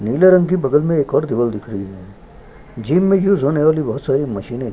नीले रंग की बगल में एक और दीवाल दिख रही है जिम में यूज़ होने वाली बहुत सारी मशीने --